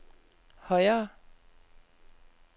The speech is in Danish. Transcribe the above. højere